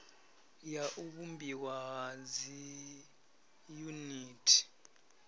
ya u vhumbiwa ha dziyuniti